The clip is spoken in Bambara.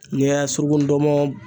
N'i y'a surugu ndɔnmɔn